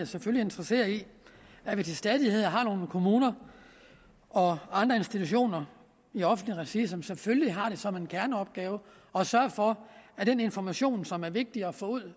selvfølgelig interesseret i at vi til stadighed har nogle kommuner og andre institutioner i offentligt regi som selvfølgelig har det som en kerneopgave at sørge for at den information som er vigtig at få ud